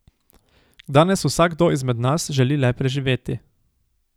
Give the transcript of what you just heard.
Danes vsakdo izmed nas želi le preživeti.